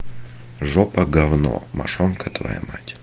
жопа говно мошонка твоя мать